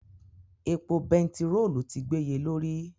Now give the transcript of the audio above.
Epo bẹntiróòlù ti gbéye lórí.